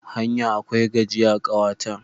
Hanya akwai gajiya, kawa ta.